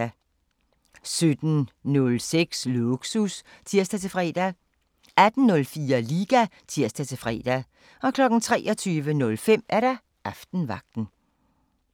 17:06: Lågsus (tir-fre) 18:04: Liga (tir-fre) 23:05: Aftenvagten